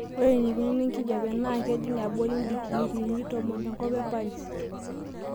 ore eneikununo enkijiape naakejing' abori ndikiriini tomon tenkop e paris